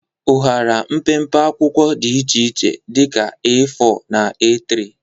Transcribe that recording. Ụhara mpempe akwụkwọ dị iche iche dị ka A4 na A3.